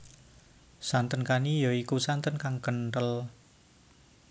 Santen kani ya iku santen kang kenthel